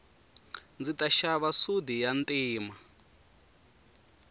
ndzi ta xava sudi ya ntima